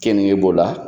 Keninge b'o la